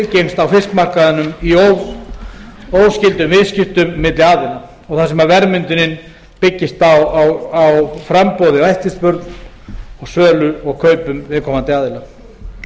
á fiskmarkaðnum í óskyldum viðskiptum milli aðila og þar sem verðmyndunin byggist á framboði og eftirspurn og sölu og kaupum viðkomandi aðila núverandi